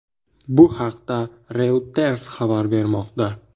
Bu haqda Reuters xabar bermoqda .